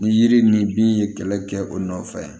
Ni yiri ni bin ye kɛlɛ kɛ o nɔfɛ